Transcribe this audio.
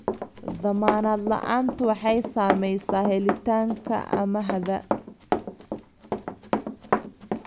Dammaanad la'aantu waxay saamaysaa helitaanka amaahda.